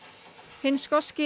hinn skoski